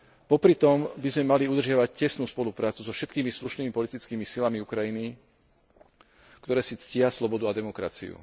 Popritom by sme mali udržiavať tesnú spoluprácu so všetkými slušnými politickými silami Ukrajiny, ktoré si ctia slobodu a demokraciu.